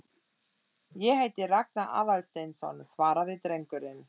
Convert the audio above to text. Ég heiti Ragnar Aðalsteinsson- svaraði drengurinn.